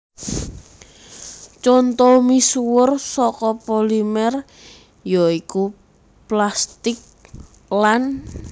Conto misuwur saka polimer ya iku plastik lan